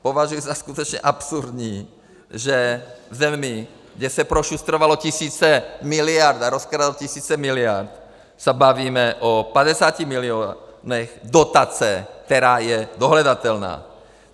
Považuji za skutečně absurdní, že v zemí, kde se prošustrovaly tisíce miliard a rozkradly tisíce miliard, se bavíme o 50 milionech dotace, která je dohledatelná.